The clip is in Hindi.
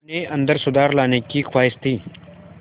अपने अंदर सुधार लाने की ख़्वाहिश थी